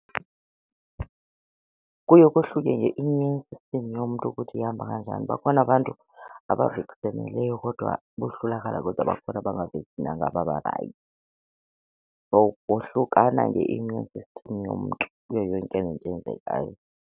Kuye kohluke nge-immune system yomntu ukuthi ihamba kanjani. Bakhona abantu kodwa bohlulakala kodwa bakhona babarayithi. So kohlukana nge-immune system yomntu kuyo yonke into eyenzekayo.